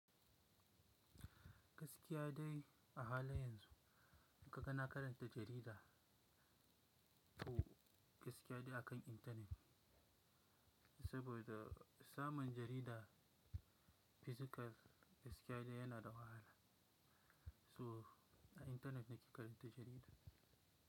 Gaskiya dai a halin yanzu, in kaga na karanta jarida, to gaskiya dai akan intanet, saboda samun jarida physical gaskiya dai yana da wahala. To, a intanet nake karanta jarida.